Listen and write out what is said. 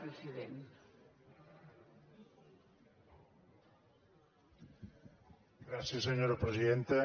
gràcies senyora presidenta